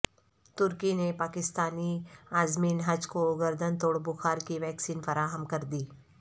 ترکی نےپاکستانی عازمین حج کوگردن توڑبخارکی ویکسین فراہم کردی